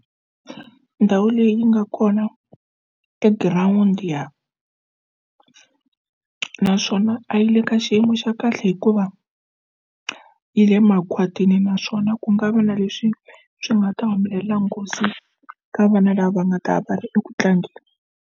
Ndhawu leyi yi nga kona e-ground ya naswona a yi le ka xiyimo xa kahle hikuva yi le makhwatini naswona ku nga va na leswi swi nga ta humelela nghozi ka vana lava nga ta va ri eku tlangeni.